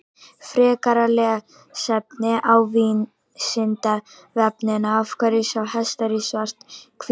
Frekara lesefni á Vísindavefnum Af hverju sjá hestar í svart-hvítu?